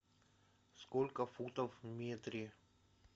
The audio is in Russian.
сколько футов в метре